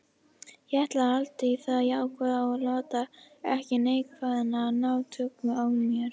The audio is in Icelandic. Ég ætla að halda í það jákvæða og láta ekki neikvæðnina ná tökum á mér.